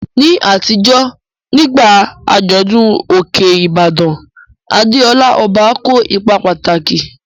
Ní àtijọ́, nígbà àjọ̀dún Òkè Ìbàdàn, Adeola, ọba, kó ipa pàtàkì.